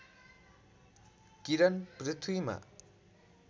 किरण पृथ्वीमा